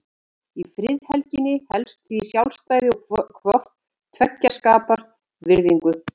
Í friðhelginni felst því sjálfræði og hvort tveggja skapar virðingu.